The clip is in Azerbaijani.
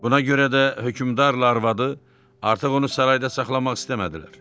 Buna görə də hökmdarla arvadı artıq onu sarayda saxlamaq istəmədilər.